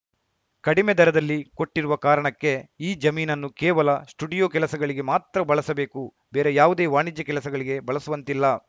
ಕಡಿಮೆ ದರದಲ್ಲಿ ಕೊಟ್ಟಿರುವ ಕಾರಣಕ್ಕೆ ಈ ಜಮೀನನ್ನು ಕೇವಲ ಸ್ಟುಡಿಯೋ ಕೆಲಸಗಳಿಗೆ ಮಾತ್ರ ಬಳಸಬೇಕು ಬೇರೆ ಯಾವುದೇ ವಾಣಿಜ್ಯ ಕೆಲಸಗಳಿಗೆ ಬಳಸುವಂತಿಲ್ಲ